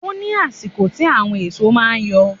Ó ní àsìkò tí àwọn èso máa ń yọ.